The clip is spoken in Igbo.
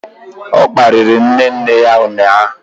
O kparịrị nne nne ya ụnyahụ.